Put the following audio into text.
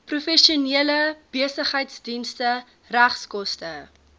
professionele besigheidsdienste regskoste